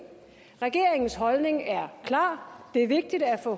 regeringens holdning er klar det er vigtigt at få